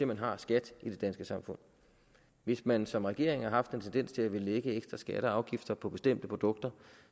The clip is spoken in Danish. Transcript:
man har skat i det danske samfund hvis man som regering har en tendens til at ville lægge ekstra skatter og afgifter på bestemte produkter